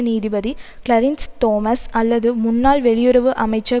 நீதிபதி Clarence Thomas அல்லது முன்னாள் வெளியுறவு அமைச்சர்